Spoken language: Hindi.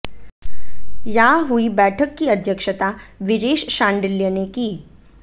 यहां हुई बैठक की अध्यक्षता वीरेश शांडिल्य ने की